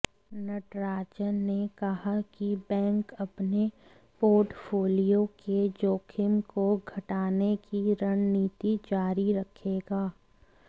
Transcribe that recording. नटराजन ने कहा कि बैंक अपने पोर्टफोलियो के जोखिम को घटाने की रणनीति जारी रखेगा